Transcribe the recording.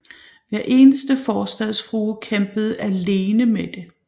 Hver eneste forstadsfrue kæmpede alene med det